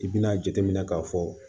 I bɛna jateminɛ k'a fɔ